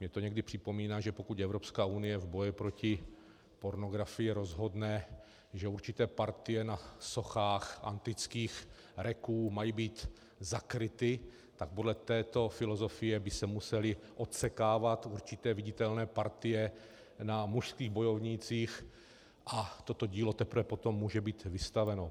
Mně to někdy připomíná, že pokud Evropská unie v boji proti pornografii rozhodne, že určité partie na sochách antických reků mají být zakryty, tak podle této filozofie by se musely odsekávat určité viditelné partie na mužských bojovnících a toto dílo teprve potom může být vystaveno.